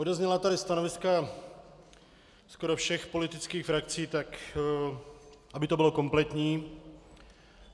Odezněla tady stanoviska skoro všech politických frakcí, tak aby to bylo kompletní.